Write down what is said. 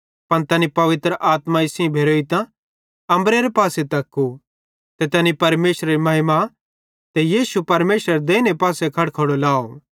पन तैनी पवित्र आत्माई सेइं भेरोइतां अम्बरेरे पासे तक्कू ते तैनी परमेशरेरी महिमा ते यीशु परमेशरेरे देइने पासे खड़खड़ो लाव